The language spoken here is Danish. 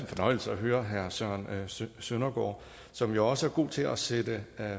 fornøjelse at høre herre søren søndergaard som jo også er god til at sætte